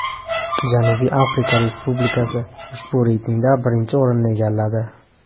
Janubiy Afrika Respublikasi ushbu reytingda birinchi o‘rinni egalladi.